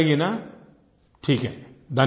याद रहेगी न ठीक है